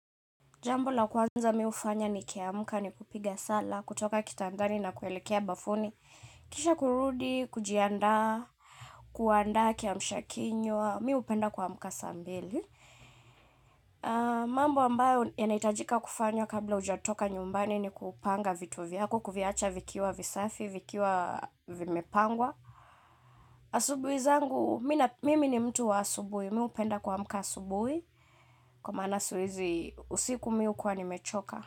Jambu la kwanza mi hufanya ni kiamka ni kupiga sala, kutoka kitandani na kuelekea bafuni. Kisha kurudi, kujianda, kuanda kiamsha kinywa, mi hupenda kuamka saa mbili. Mambo ambayo yanaitajika kufanywa kabla ujatoka nyumbani ni kupanga vitu vyako, kuviacha vikiwa visafi, vikiwa vimepangwa. Asubuhi zangu mimi ni mtu wa asubuhi mi hupenda kuamka asubuhi kwa maana usiku mi hukuwa nimechoka.